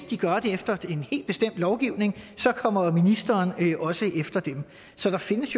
de gør det efter en helt bestemt lovgivning kommer ministeren også efter dem så der findes